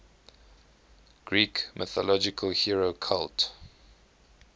greek mythological hero cult